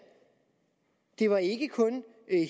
det var ikke kun